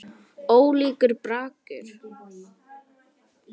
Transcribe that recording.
Ólíkur bragur.